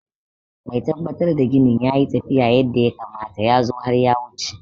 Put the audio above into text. Mai tabbatar da ginin na tafiya yadda ya kamata ya zo har ya wuce.